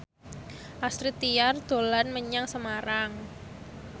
Astrid Tiar dolan menyang Semarang